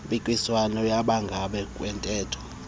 mpikiswano yangaphambi kwentetho